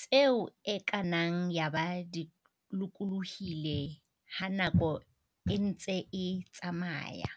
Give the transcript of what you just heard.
tseo e ka nnang yaba di lokolohile ha nako e ntse e tsamaya.